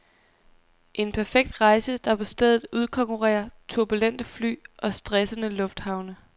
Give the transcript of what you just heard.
En perfekt rejse, der på stedet udkonkurrerer turbulente fly og stressende lufthavne.